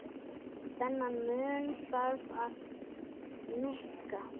Þennan mun þarf að minnka.